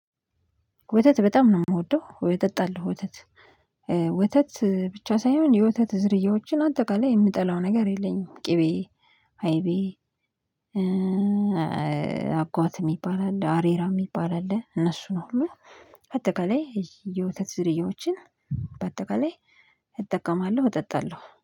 ወተት በጣም ነው የምወደው ወተት አለው ወተት ወተት ብቻ ሳይሆን የወተት ዝርያዎችን አጠቃላይ የምጠላው ነገር የለኝም። ቅቤ አይቤ አጓት የሚባል አለ አሬራ የሚባል አለ። እነሱን ሁሉ በአጠቃላይ የውተት ዝርያዎችን በአጠቃላይ እጠቀማለሁ እጠጣለሁ